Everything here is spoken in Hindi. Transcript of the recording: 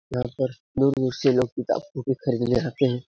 यहाँ पर दूर-दूर से लोग किताब-कॉपी खरीदने आते है।